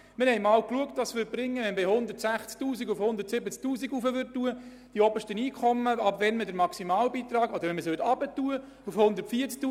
Wir haben einmal analysiert, was geschähe, wenn man den Maximalbeitrag von 160 000 auf 170 000 Franken erhöhen oder auf 140 000 Franken senken würde.